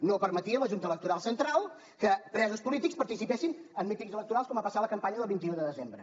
no permetia la junta electoral central que presos polítics participessin en mítings electorals com va passar a la campanya del vint un de desembre